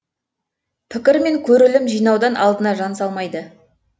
пікір мен көрілім жинаудан алдына жан салмайды